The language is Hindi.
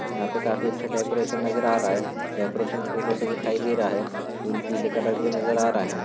यहा पे काफी अच्छा डेकोरेशन नजर आ रहा है। डेकोरेशन फूलों से दिखाई दे रहा है। फूल पीले कलर के नजर आ रहा है।